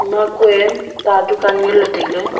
ma kue ta dukan ngan ley tailey.